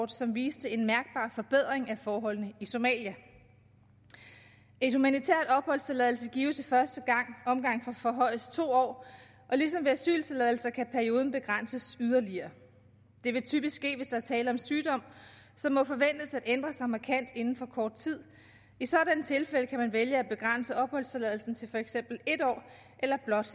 som viste en mærkbar forbedring af forholdene i somalia en humanitær opholdstilladelse gives i første omgang for højst to år og ligesom ved asyltilladelser kan perioden begrænses yderligere det vil typisk ske hvis der er tale om sygdom som må forventes at ændre sig markant inden for kort tid i sådanne tilfælde kan man vælge at begrænse opholdstilladelsen til for eksempel en år eller blot